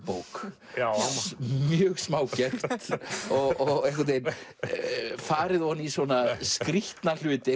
bók mjög smágert og einhvern veginn farið ofan í skrýtna hluti